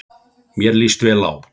Mér líst vel á þá.